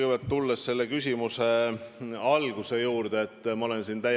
Loodame, et meil läheb hästi, aga ka konkurent on arvestatav ja välispoliitiliselt kindlasti väga mõjukas ja tugev.